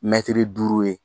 Mɛtiri duuru ye.